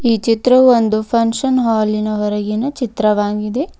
ಈ ಚಿತ್ರವು ಒಂದು ಫಂಕ್ಷನ್ ಹಾಲಿನ ಹೊರಗಿನ ಚಿತ್ರವಾಗಿದೆ.